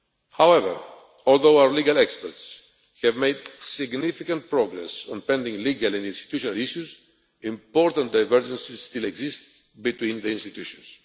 However, although our legal experts have made significant progress on pending legal and institutional issues, important divergences still exist between the institutions.